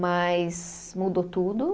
Mas mudou tudo.